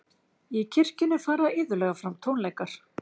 í kirkjunni fara iðulega fram tónleikar